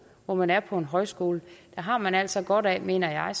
hvor man er på en højskole har man altså godt af mener jeg